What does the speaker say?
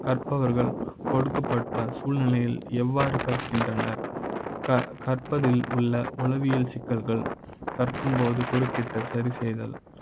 கற்ப வர்கள் கொடுக்கப்பட்ட சூழ்நிலை யில் எவ்வாறு கற்கின்ற னர் . கற்ப அதில் உள்ள உளவியல் சிக்கல்கள் கற்கும்போது குறுக்கிட்ட சரி செய்த ல்,